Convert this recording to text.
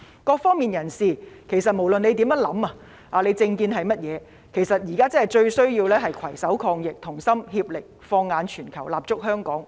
各方人士，不管政見為何，面對疫情來勢洶洶，現在最需要的是攜手抗疫，同心協力，放眼全球，立足香港。